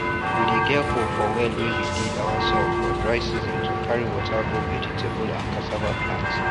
we dey get hope for well wey we did ourselves for dry season to carry water go vegetable and cassava plant